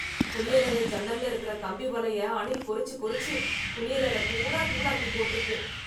குளியலறை ஜன்னல்ல இருக்கற கம்பி வலைய, அணில் கொறிச்சு கொறிச்சு, குளியலறப் பூரா தூளாக்கி போட்ருக்கு...